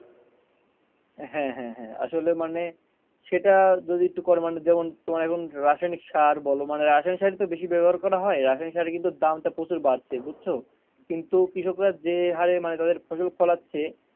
হ্যাঁ হ্যাঁ হ্যাঁ আসলে মানে সেটা যদি একটু করে মানে যেমন রাসায়নিক সার বলো রাসায়নিক সার তো বেশি ব্যাবহার করা হয় রাসায়নিক সারের দামটা কিন্তু প্রচুর বাড়ছে বুঝছো? কিন্তু কৃষকরা যে হারে মানে তাদের ফসল ফলাচ্ছে,